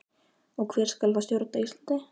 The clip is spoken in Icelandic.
Og hver skal þá stjórna Íslandi?